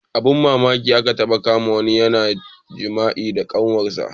Abun mamaki aka taɓa kama wani yana jima'i da kanwar sa